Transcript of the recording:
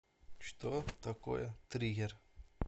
что такое триггер